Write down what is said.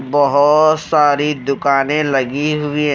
बहोोोत सारी दुकानें लगी हुई है।